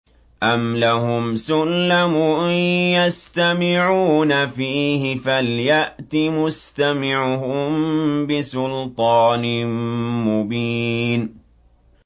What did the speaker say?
أَمْ لَهُمْ سُلَّمٌ يَسْتَمِعُونَ فِيهِ ۖ فَلْيَأْتِ مُسْتَمِعُهُم بِسُلْطَانٍ مُّبِينٍ